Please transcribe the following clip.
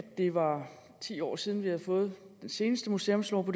det var ti år siden at vi havde fået den seneste museumslov og